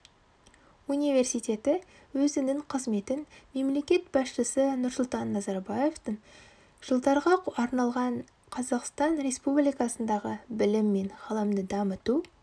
университеті өзінің қызметін мемлекет басшысы нұрсұлтан назарбаевтың жылдарға арналған қазақстан республикасындағы білім мен ғылымды дамыту